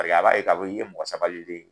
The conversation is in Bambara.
Paseke a b'a ye ka fɔ k'i ye mɔgɔ sabalilen ye.